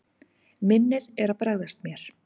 Minnið er að bregðast mér.